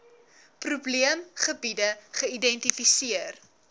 probeem gebiede geïdentifiseer